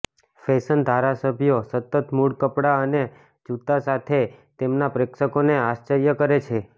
fashion ધારાસભ્યો સતત મૂળ કપડાં અને જૂતાં સાથે તેમના પ્રેક્ષકોને આશ્ચર્ય કરે છે